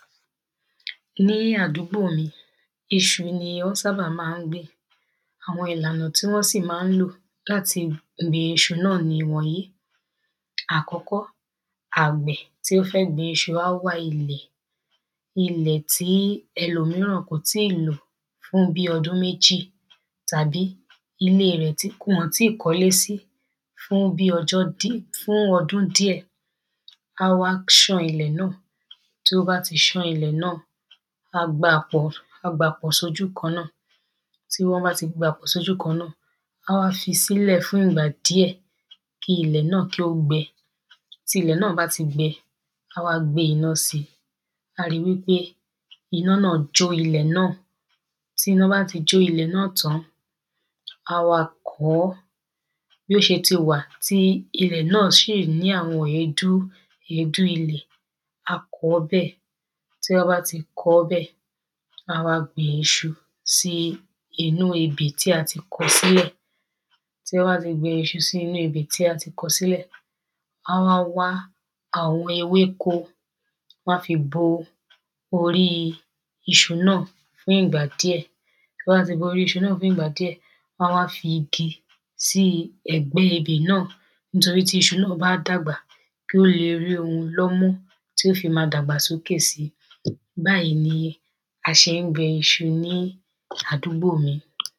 ní àdúgbò mí, iṣu ní wọ́n sábà ma ń gbìn. Àwọn ìlànà tí wọn má n lo latí gbìn iṣu náà ní ìwọ̀nyí Àkọ́kọ́, àgbẹ̀ tí o fẹ́ gbin iṣu á wá ilẹ̀, ilẹ̀ ti ẹlòmíràn kò ti lò fún bí ọdún méjì tàbí, ile rẹ̀ tí wọ́n kò ti kọ́lé sí fún bíi ọdún díẹ̀. ká wá ṣán ilẹ̀ náà, tí o bá ti ṣàn ìlẹ̀ náà, a gbá à pọ̀, a gba pọ̀ sójú kàn náà. tí o bá tì gbáa pọ̀ sójú kan náà, á wá fi sílẹ̀ fún ìgbà díẹ kí ìlẹ̀ náà kí o gbẹ tí ilẹ̀ náà bá ti gbẹ, àá wá gbé iná síi. A ríi wípé ina náà jó ìlẹ̀ náà. tí iná bá ti jó ilẹ̀ náà tán an, a wá kọ ọ́. Bó ṣe ti wà tí ìlẹ̀ náà ṣì ní àwọn èédú, èédú ìlẹ̀, a kọ bẹ, tí a bá tì kọ ọ́ bẹ̀, à wá gbin iṣu sí inú ebè tí a tí kọ sílẹ̀. Tí a bá tì gbìn iṣu sínu ebè tí a kọ silẹ̀, à wá wá àwọn ewéko, a fí bo orí iṣu náà fún ìgbà díẹ. tí a bá ti bo orí iṣu náà fún ìgbà díẹ, wọn a wa fí igi sí ẹ̀gbẹ ebè náà, nítorí tí iṣu náà bá dàgbà, kí ó le rí òun lọ́ mọ́ tí ó fi máa dàgbà sókè sí. Báyìi ní a ṣe ń gbin iṣu ní àdúgbò mí.